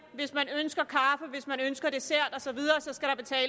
hvis man ønsker kaffe hvis man ønsker dessert så